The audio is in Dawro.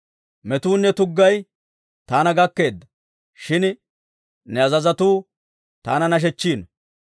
Metuunne tuggay taana gakkeedda; shin ne azazotuu taana nashechchiino.